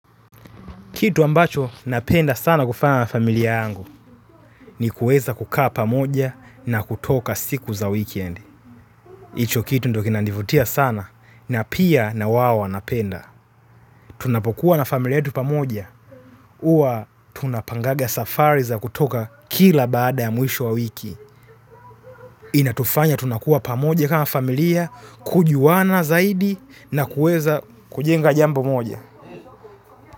Kitu ambacho napenda sana kufanya na familia yangu ni kueza kukaa pamoja na kutoka siku za weekend. Icho kitu ndio kinanivutia sana na pia na wao wanapenda. Tunapokuwa na familia yetu pamoja. Uwa tunapangaga safari za kutoka kila baada ya mwisho wa wiki. Inatufanya tunakuwa pamoja kama familia, kujuwana zaidi na kueza kujenga jambo moja.